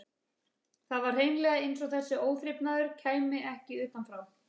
Það var hreinlega eins og þessi óþrifnaður kæmi ekki utan frá.